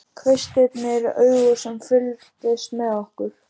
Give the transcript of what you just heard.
Kvistirnir augu sem fylgdust með okkur.